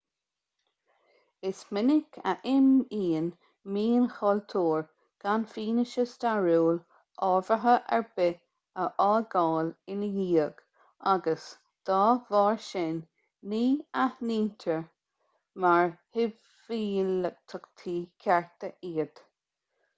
is minic a imíonn mionchultúir gan fianaise stairiúil ábhartha ar bith a fhágáil ina dhiaidh agus dá bharr sin ní aithnítear mar shibhialtachtaí cearta iad